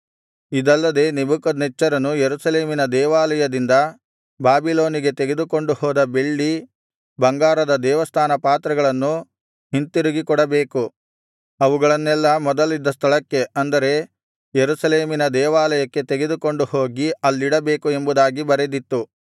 ಇದಲ್ಲದೆ ನೆಬೂಕದ್ನೆಚ್ಚರನು ಯೆರೂಸಲೇಮಿನ ದೇವಾಲಯದಿಂದ ಬಾಬಿಲೋನಿಗೆ ತೆಗೆದುಕೊಂಡು ಹೋದ ಬೆಳ್ಳಿ ಬಂಗಾರದ ದೇವಸ್ಥಾನ ಪಾತ್ರೆಗಳನ್ನು ಹಿಂತಿರುಗಿ ಕೊಡಬೇಕು ಅವುಗಳನ್ನೆಲ್ಲಾ ಮೊದಲಿದ್ದ ಸ್ಥಳಕ್ಕೆ ಅಂದರೆ ಯೆರೂಸಲೇಮಿನ ದೇವಾಲಯಕ್ಕೆ ತೆಗೆದುಕೊಂಡು ಹೋಗಿ ಅಲ್ಲಿಡಬೇಕು ಎಂಬುದಾಗಿ ಬರೆದಿತ್ತು